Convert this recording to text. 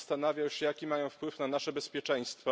Zastanawiał się, jaki mają wpływ na nasze bezpieczeństwo.